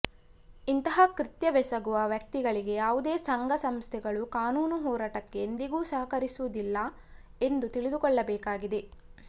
ಇಂತಹ ಕೃತ್ಯವೆಸಗುವ ವ್ಯಕ್ತಿಗಳಿಗೆ ಯಾವುದೇ ಸಂಘ ಸಂಸ್ಥೆಗಳು ಕಾನೂನು ಹೋರಾಟಕ್ಕೆ ಎಂದಿಗೂ ಸಹಕರಿಸುವಿದಿಲ್ಲ ಎಂದು ತಿಳಿದುಕೊಳ್ಳಬೇಕಾಗಿದೆ